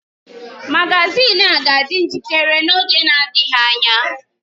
Magazin a ga-adị njikere n’oge na-adịghị anya.